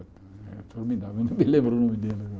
É formidável, eu não me lembro o nome dele agora.